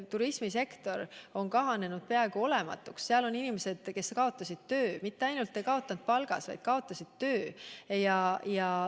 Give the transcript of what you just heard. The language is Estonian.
Turismisektor on kahanenud peaaegu olematuks, sealsed inimesed kaotasid töö – nad mitte ainult ei kaotanud palgas, vaid kaotasid töö.